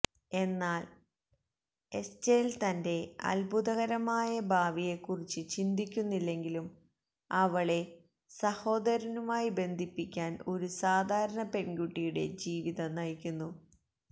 എന്നാൽ എസ്റ്റേൽ തന്റെ അത്ഭുതകരമായ ഭാവിയെക്കുറിച്ച് ചിന്തിക്കുന്നില്ലെങ്കിലും അവളെ സഹോദരനുമായി ബന്ധിപ്പിക്കാൻ ഒരു സാധാരണ പെൺകുട്ടിയുടെ ജീവിതം നയിക്കുന്നു